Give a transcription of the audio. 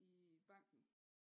I banken